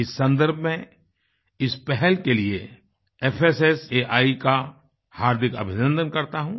इस सन्दर्भ में इस पहल के लिए fssaआई का हार्दिक अभिनन्दन करता हूँ